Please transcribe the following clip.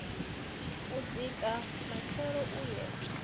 u dzika matshelo u ye